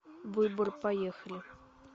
выбор поехали